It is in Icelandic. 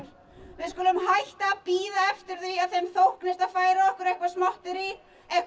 við skulum hætta að bíða eftir því að þeim þóknist að færa okkur eitthvað smotterí eitthvað